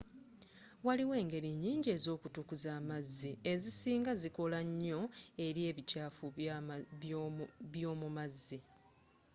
waliwo engeri nyinji ezo kutukuza amazzi ezisinga zikola nnyo eri ebikyaafu by'omumazzi